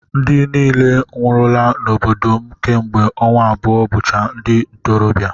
Ndị niile nwụrụla n'obodo m kemgbe ọnwa abụọ bụcha ndi ntorobịa